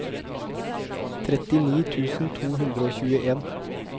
trettini tusen to hundre og tjueen